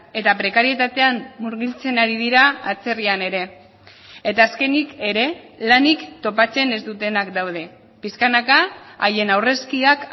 eta prekarietatean murgiltzen ari dira atzerrian ere eta azkenik ere lanik topatzen ez dutenak daude pixkanaka haien aurrezkiak